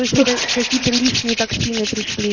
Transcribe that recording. то есть это какие-то лишние токсины пришли